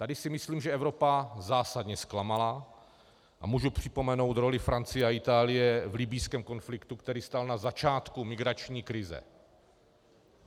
Tady si myslím, že Evropa zásadně zklamala, a můžu připomenout roli Francie a Itálie v libyjském konfliktu, který stál na začátku migrační krize.